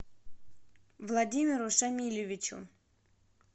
владимиру шамилевичу